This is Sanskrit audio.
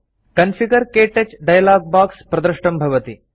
कॉन्फिगर - क्तौच डायलॉग बॉक्स प्रदृष्टं भवति